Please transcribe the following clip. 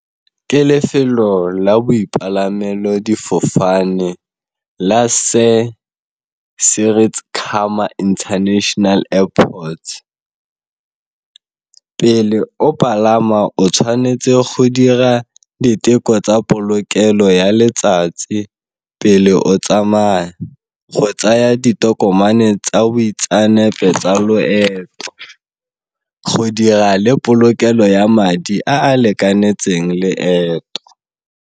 Ke lefelo la bopalamelo difofane la international airports, pele o palama o tshwanetse go dira diteko tsa polokelo ya letsatsi pele o tsamaya, go tsaya ditokomane tsa boitseanape tsa loeto, go dira le polokelo ya madi a a lekanetseng leeto.